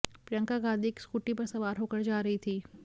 प्रियंका गांधी एक स्कूटी पर सवार होकर जा रही थी